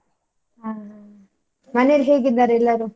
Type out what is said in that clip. ಹ್ಮ್, ಮನೆಯಲ್ಲಿ ಹೇಗಿದ್ದಾರೆ ಎಲ್ಲರೂ?